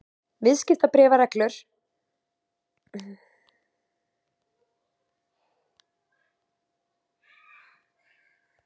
Viðskiptabréfsreglur um hlutabréf.